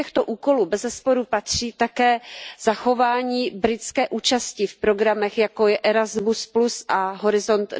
Do těchto úkolů bezesporu patří také zachování britské účasti v programech, jako je Erasmus a Horizont